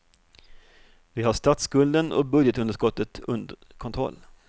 Vi har statsskulden och budgetunderskottet under kontroll.